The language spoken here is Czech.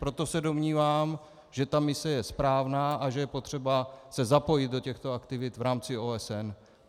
Proto se domnívám, že ta mise je správná a že je potřeba se zapojit do těchto aktivit v rámci OSN.